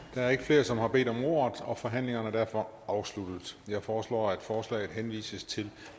der er ikke flere som har bedt om ordet og forhandlingen er derfor afsluttet jeg foreslår at forslaget henvises til